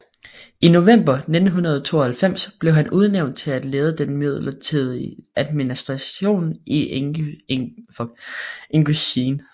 I november 1992 blev han udnævnt til at lede den midlertidige administration i Ingusjien